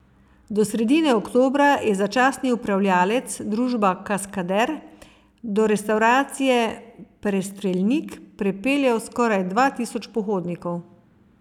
Do sredine oktobra je začasni upravljavec, družba Kaskader, do restavracije Prestreljnik prepeljal skoraj dva tisoč pohodnikov.